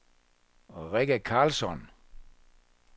Rikke Carlsson